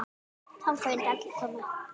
Þangað vildu allir koma.